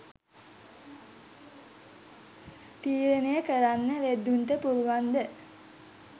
තීරණය කරන්න ලෙඩ්ඩුන්ට පුලුවන්ද?